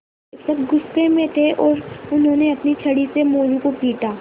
शिक्षक गुस्से में थे और उन्होंने अपनी छड़ी से मोरू को पीटा